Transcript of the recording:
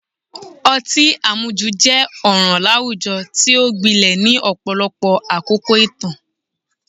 Ọtí àmujù jẹ́ ọ̀ràn láwùjọ tí ó gbilẹ̀ ní ọ̀pọ̀lọpọ̀ àkókò ìtàn